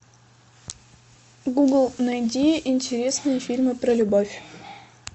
гугл найди интересные фильмы про любовь